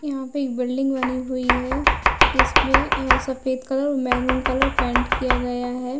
यहाँ पे एक बिल्डिंग बनी हुई है जिस पे सफेद कलर महरूँ कलर पेंट किया गया है।